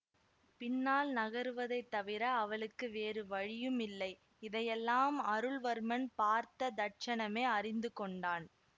பின்னால் நகருவதைத் தவிர அவளுக்கு வேறு வழியும் இல்லை இதையெல்லாம் அருள்வர்மன் பார்த்த தட்சணமே அறிந்து கொண்டான்